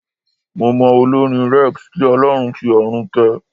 Mo mọ olórin Rex, kí Ọlọ́run fi ọ̀run kẹ́ẹ.